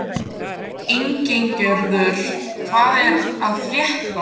Ingigerður, hvað er að frétta?